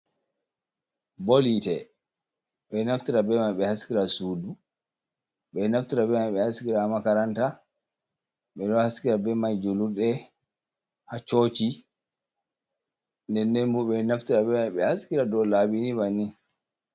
Bol Hite, ɓeɗo Naftira Be man ɓe Haskira Sudu, ɓe Naftira beman ɓe Haskira Makaranta, ɓe ɗo Haskira be mai Jlurɗe, ha Coci, nden ndenbo ɓe Naftira bemai ɓe Haskira dow Labini Banni.